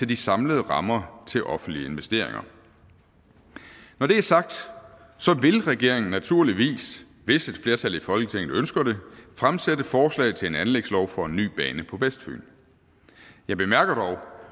de samlede rammer til offentlige investeringer når det er sagt vil regeringen naturligvis hvis et flertal i folketinget ønsker det fremsætte forslag til en anlægslov for en ny bane på vestfyn jeg bemærker dog